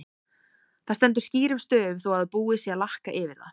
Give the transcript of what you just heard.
Það stendur skýrum stöfum þó að búið sé að lakka yfir það!